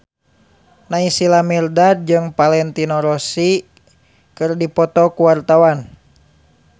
Naysila Mirdad jeung Valentino Rossi keur dipoto ku wartawan